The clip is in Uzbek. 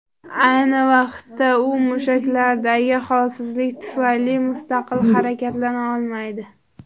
Ayni vaqtda u mushaklardagi holsizlik tufayli mustaqil harakatlana olmaydi.